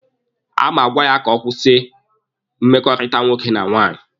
A ma agwa ya ka ọ kwụsị mmekọrịta nwoke na nwaanyị.